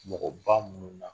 Mɔgɔba minnu na